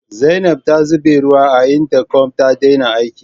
Zainab ta zube ruwa a intakom ta daina aiki.